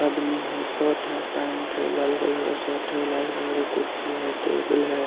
आदमी है शर्ट है पेंट है लाल कलर का शर्ट है लाल कलर का कुड्सी है टेबल है ।